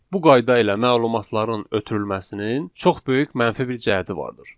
Bu qaydada məlumatların ötürülməsinin çox böyük mənfi bir cəhəti vardır.